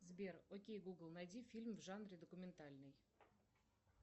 сбер окей гугл найди фильм в жанре документальный